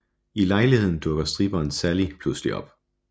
I lejligheden dukker stripperen Sally pludselig op